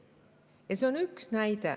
Ja see on vaid üks näide.